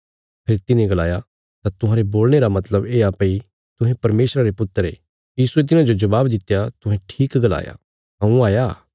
फेरी तिन्हे गलाया तां तुहांरे बोलणे रा मतलब येआ भई तुहें परमेशरा रे पुत्र ये यीशुये तिन्हाजो जबाब दित्या तुहें ठीक गलाया हऊँ हाया